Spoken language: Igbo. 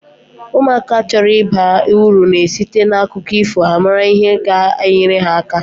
Ụmụaka chọrọ ịba uru na esite na akụkọ ifo a mara ihe ga- enyere ha aka.